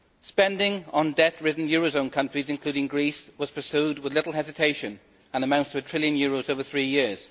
Spending on debt ridden eurozone countries, including Greece, was pursued with little hesitation and amounts to a trillion euros over three years.